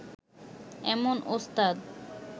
এমন ওস্তাদ